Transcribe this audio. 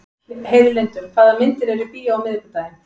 Heiðlindur, hvaða myndir eru í bíó á miðvikudaginn?